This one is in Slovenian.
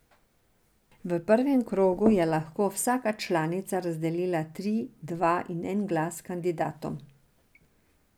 V prvem krogu je lahko vsaka članica razdelila tri, dva in en glas kandidatom.